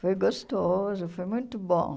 Foi gostoso, foi muito bom.